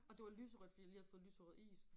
Og det var lyserødt fordi jeg lige havde fået lyserød is